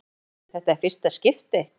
Hjördís: Er þetta í fyrsta skipti?